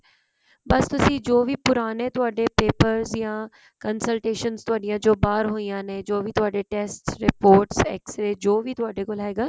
ਬਸ ਜੋ ਵੀ ਪੁਰਾਣੇ ਤੁਹਾਡੇ papers ਯਾ consultations ਜੋ ਥੋਡੀਆਂ ਜੋ ਬਾਹਰ ਹੋਈਆਂ ਨੇ ਜੋ ਵੀ ਤੁਹਾਡੇ test reports x ray ਜੋ ਵੀ ਤੁਹਾਡੇ ਕੋਲ ਹੈਗਾ